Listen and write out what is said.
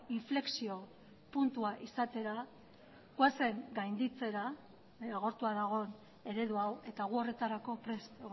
inflexio puntua izatera goazen gainditzera agortua dagoen eredu hau eta gu horretarako prest